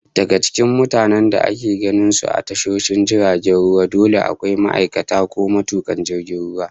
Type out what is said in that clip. Daga cikin mutanen da ake ganin su a tashoshin jiragen ruwa, dole akwai ma'aikacin ko matukan jirgin ruwa